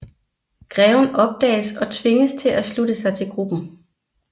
Greven opdages og tvinges til at slutte sig til gruppen